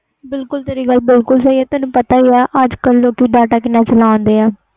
ਬਿਲਕੁਲ ਤੇਰੀ ਗੱਲ ਸਹੀ ਆ ਅਜੇ ਕਲ ਲੋਕੀ ਕਿੰਨਾ data ਚਲਾਂਦੇ ਆ